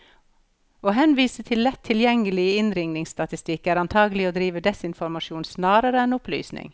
Å henvise til lett tilgjengelig innringningsstatistikk, er antagelig å drive desinformasjon snarere enn opplysning.